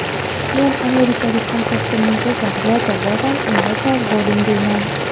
"Men amerikalik hamkasbimning so‘zlariga javoban unga "Sog‘ bo‘ling" deyman.